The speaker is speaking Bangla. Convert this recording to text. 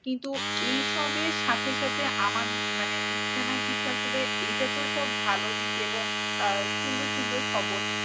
কিন্তু এইসবের সাথে সাথে আমাদের মানে ইস্তেমায় কিছু আসলে এইটা তো সব ভালো দিক এবং আহ সুন্দর সুন্দর খবর।